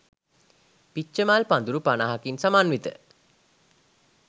පිච්චමල් පඳුරු පනහකින් සමන්විත